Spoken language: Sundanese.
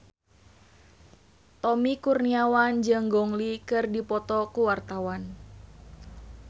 Tommy Kurniawan jeung Gong Li keur dipoto ku wartawan